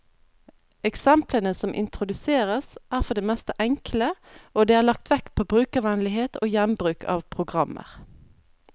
Eksemplene som introduseres, er for det meste enkle, og det er lagt vekt på brukervennlighet og gjenbruk av programmer.